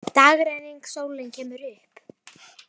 Dagrenning, sólin kemur upp.